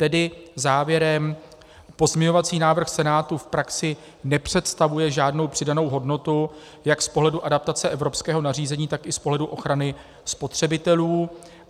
Tedy závěrem - pozměňovací návrh Senátu v praxi nepředstavuje žádnou přidanou hodnotu jak z pohledu adaptace evropského nařízení, tak i z pohledu ochrany spotřebitelů.